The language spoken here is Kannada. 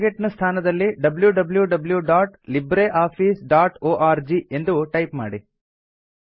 ಟಾರ್ಗೆಟ್ ನ ಸ್ಥಾನದಲ್ಲಿ wwwlibreofficeorg ಎಂದು ಟೈಪ್ ಮಾಡಿ